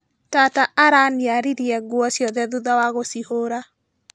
Tata araniaririe nguo ciothe thutha wa gũcihũra.